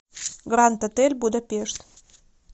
гранд отель будапешт